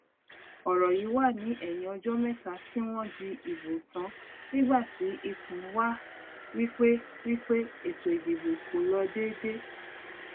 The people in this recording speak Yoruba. ọrọ yí wà ní ẹyìn ọjọ mẹta tí wọn dì ìbò tàn nígbà tí ikùn wá wípé wípé ètò ìdìbò kò lọ dédé